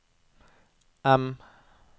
M